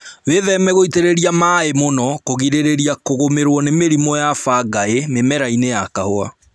Wĩtheme gũitĩrĩria maĩĩ mũno kũgirĩrĩria kũgũmĩrwo ni mĩrimũ ya bangaĩ mĩmerainĩ ya kahũa